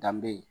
Danbe ye